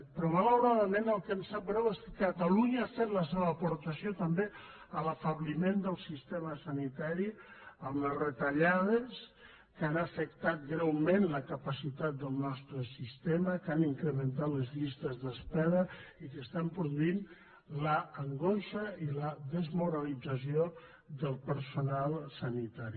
però malauradament el que ens sap greu és que catalunya ha fet la seva aportació també a l’afebliment del sistema sanitari amb les retallades que han afectat greument la capacitat del nostre sistema que han incrementat les llistes d’espera i que estan produint l’angoixa i la desmoralització del personal sanitari